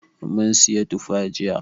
Mun siyi tufa jiya.